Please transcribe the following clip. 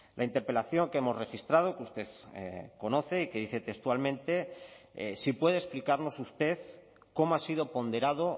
la interpelación que hemos registrado que usted conoce y que dice textualmente si puede explicarnos usted cómo ha sido ponderado